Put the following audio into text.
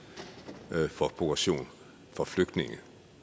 for progression for flygtninge